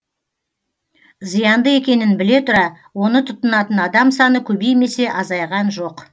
зиянды екенін біле тұра оны тұтынатын адам саны көбеймесе азайған жоқ